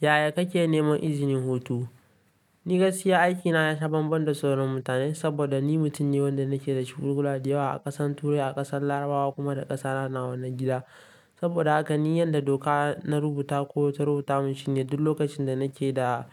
Yaya kake neman izinin hutu? Ni gaskiya aikina yasha bambam da sauran mutane saboda ni mutum ne wanda nake da shugugula da yawa a ƙasan Turai, a ƙasan Larabawa kuma da ƙasa na nan gida. Saboda haka ni yadda doka na rubuta ko ta rubuta mun shine duk lokacin da nake da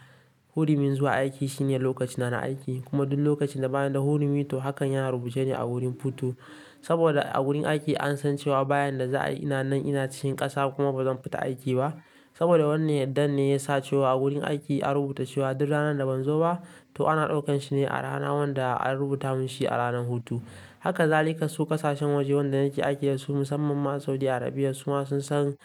hurimin zuwa aiki shine lokacina na aiki kuma duk lokacin da ba ni da hurimi to hakan yana rubucene a wurin futun saboda a wurin aiki an san cewa bayan da za'a ina nan ina cikin ƙasa kuma bazan fita aiki ba. Saboda wannan yaddan ne ya sace wa a wurin aiki a rubuta cewa duk ranar da ban zo ba to ana ɗaukan shine a rana wanda an rubuta mun shi a ranar hutu. Haka zalika su ƙasashen waje wanda nake aiki da su musamman ma Saudi Arabia suma sun san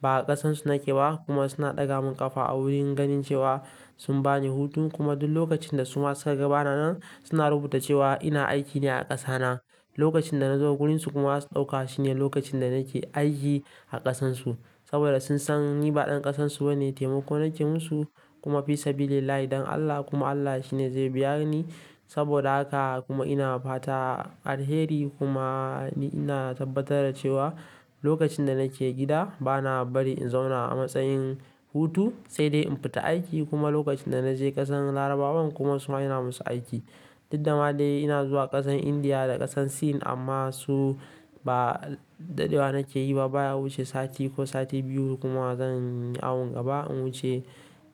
ba a ƙasansu nake ba kuma suna ɗaga mun ƙafa a wurin ganin cewa sun bani hutu kuma duk lokacin da suma suka ga bana nan suna rubuta cewa ina aiki ne a ƙasa na. Lokacin da na zo wurin su kuma za su ɗauka shine lokacin da nake aiki a ƙasansu. Saboda sun san ni ba ɗan ƙasansu bane taimako nake musu kuma fi sabilillahi don Allah kuma Allah shine zai biya ni. Saboda haka kuma ina fata alheri kuma ina tabbatar da cewa lokacin da nake gida ba na bari in zauna a matsayin hutu saidai in fita aiki kuma lokacin da naje kasan larabawan kuma su ma ina musu aiki Didda ma dai ina zuwa ƙasan Indiya da ƙasan Sin amma su ba dadewa nake yi ba, baya wuce sati ko sati biyu kuma zan yi awon gaba in wuce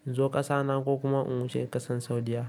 in zo ƙasa na ko kuma in wuce ƙasan Saudiyya.